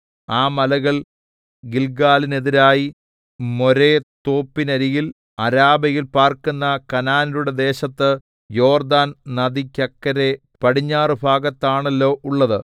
ആ മലകൾ ഗില്ഗാലിനെതിരായി മോരെ തോപ്പിനരികിൽ അരാബയിൽ പാർക്കുന്ന കനാന്യരുടെ ദേശത്ത് യോർദ്ദാന്‍ നദിക്കക്കരെ പടിഞ്ഞാറുഭാഗത്താണല്ലോ ഉള്ളത്